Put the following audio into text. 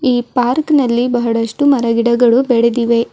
ಈ ಪಾರ್ಕ ನಲ್ಲಿ ಬಹಳಷ್ಟು ಮರಗಿಡಗಳು ಬೆಳೆದಿವೆ.